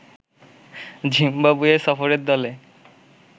Zimbabwe সফরের দলে